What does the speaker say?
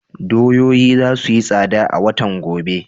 Doyoyi za su yi tsada a watan gobe.